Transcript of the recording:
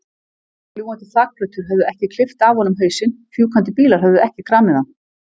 Fljúgandi þakplötur höfðu ekki klippt af honum hausinn, fjúkandi bílar höfðu ekki kramið hann.